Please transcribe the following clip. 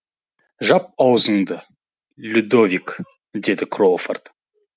жап аузыңды людовик деді кроуфорд